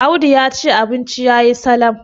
Audu ya ce abinci ya yi Salam